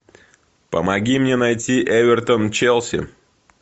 помоги мне найти эвертон челси